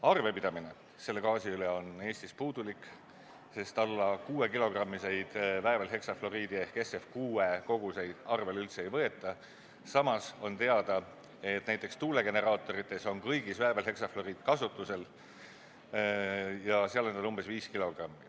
Arvepidamine selle gaasi kasutamise üle on Eestis puudulik, sest alla 6 kg väävelheksafluoriidi ehk SF6 koguseid arvele üldse ei võeta, samas on teada, et näiteks kõigis tuulegeneraatorites on väävelheksafluoriid kasutusel ja seal on seda umbes 5 kg.